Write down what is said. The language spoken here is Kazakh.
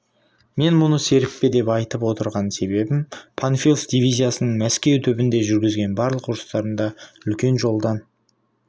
мен мұны серіппе деп айтып отырған себебім панфилов дивизиясының мәскеу түбінде жүргізген барлық ұрыстарында үлкен жолдан